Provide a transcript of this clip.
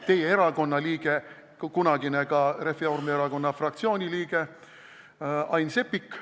–, teie erakonna liige, kunagine ka Reformierakonna fraktsiooni liige Ain Seppik.